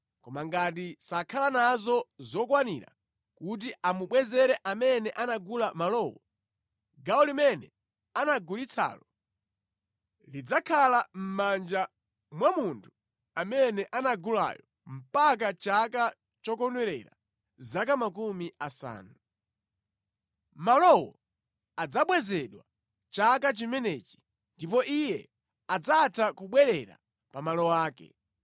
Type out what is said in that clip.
Koma ngati sakhala nazo zokwanira kuti amubwezere amene anagula malowo, gawo limene anagulitsalo lidzakhala mʼmanja mwa munthu amene anagulayo mpaka chaka chokondwerera zaka makumi asanu. Malowo adzabwezedwa chaka chimenechi, ndipo iye adzatha kubwerera pa malo ake.